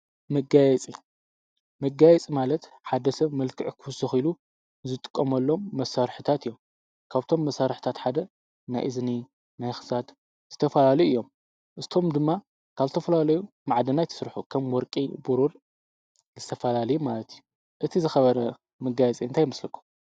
መጋየፂ፡- መጋየፂ ማለት ሓደ ሰብ መልክዕ ክውስክ ኢሉ ዝጥቀመሎም መሳርሒታት እዮም። ካብቶም መሳርሒታት ሓደ ናይ እዝኒ ናይ ክሳድ ዝተፈላለዩ እዮም። ንሳቶም ድማ ካብ ዝተፈላለየ ማዓድናት ይስርሑ። ከም ወርቂ፣ ቡሩር ዝተፈላለዩ ዓይነት ማለት እዩ። እቲ ዝከበረ መጋየፂ እንታይ ይመስለኩም?